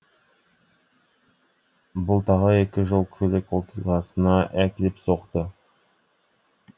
бұл тағы екі жол көлік оқиғасына әкеліп соқты